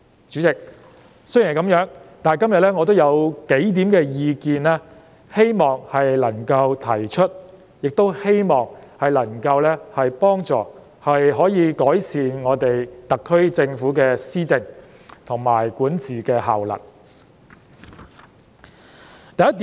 主席，雖然如此，但我今天仍希望提出數點意見，亦希望這些意見能夠幫助特區政府改善施政及管治的效能。